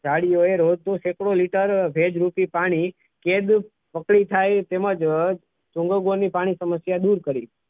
ગાડીઓ એ રોજનો સેકડો લીટર ભેજ રૂપી પાણી કેદુ પકડી થાય તેમ જ ચુંગાદારની પાણી સમસ્યા દૂર કરી.